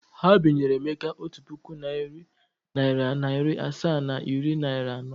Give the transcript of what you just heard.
Ha binyere Emeka otu puku naịra, narị naịra asaa na iri naịra anọ.